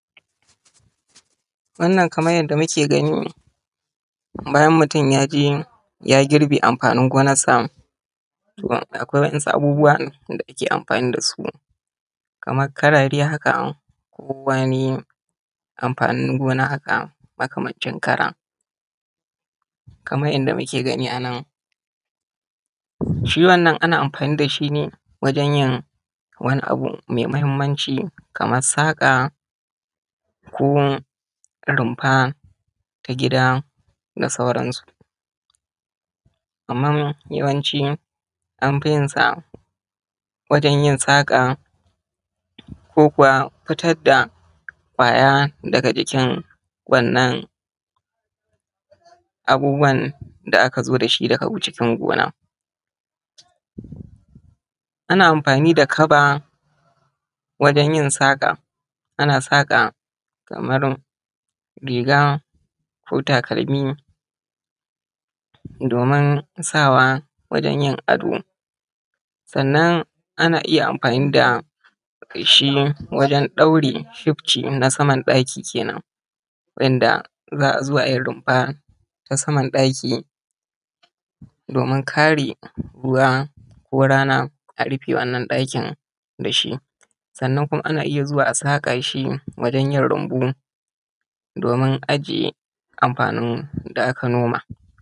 Wannan kamar yanda muke gani bayan mutun ya je ya girbe amfanin gonarsa to akwai wasu abubuwa da ake amfani da su kamar karare haka ko wani amfanin gona haka, makamancin kara. Kamar inda muke gani anan, shi wannan ana amfani da shi ne wajan yin wani abu mai muhimmanci kamar saƙa ko rumfa ta gida da sauran su. Amma yawanci an fi yin saƙa ko kuwa fitar da ƙwaya daga jikin wannan abubuwa da aka zo da shi daga cikin gona. Ana amfani da kaba wajan yin saƙa, ana saƙa kamar riga, ko takalmi domin sawa wajan yin ado. Sannan ana iya amfani da feshi wajan ɗaure shifci na saman ɗaki kenan wa'inda za a zo a yi rumfa na saman daki domin kare ruwa ko rana a rufe wannan ɗakin da shi. Sannan kuma ana iya zuwa a saka shi wajan yin rumbu domin ajiye amfanin da aka noma.